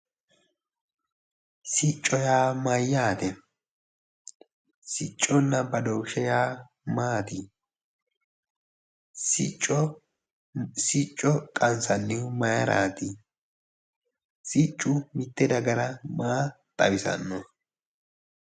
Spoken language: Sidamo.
Sicco yaa mayyaate? sicconna badooshshe yaa maati? sicco qansnnihu maayiiraati? siccu mitte dagara maa xawisanno.